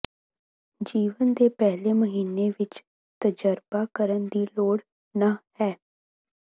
ਜੀਵਨ ਦੇ ਪਹਿਲੇ ਮਹੀਨੇ ਵਿੱਚ ਤਜਰਬਾ ਕਰਨ ਦੀ ਲੋੜ ਨਹ ਹੈ